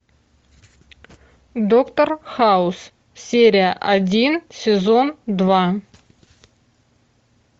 доктор хаус серия один сезон два